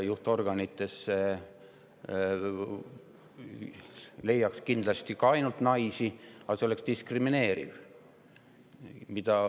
Juhtorganitesse leiaks kindlasti ka ainult naisi, aga see oleks diskrimineeriv.